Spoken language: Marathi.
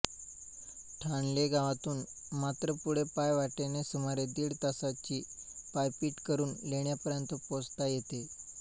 ठाणले गावातून मात्र पुढे पायवाटेने सुमारे दीड तासांची पायपीट करून लेण्यांपर्यंत पोहोचता येते